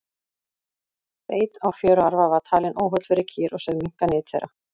beit á fjöruarfa var talinn óholl fyrir kýr og sögð minnka nyt þeirra